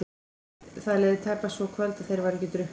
Það leið tæpast svo kvöld að þeir væru ekki drukknir.